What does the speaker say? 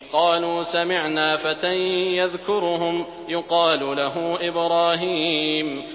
قَالُوا سَمِعْنَا فَتًى يَذْكُرُهُمْ يُقَالُ لَهُ إِبْرَاهِيمُ